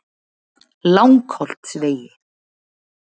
Langholtsvegi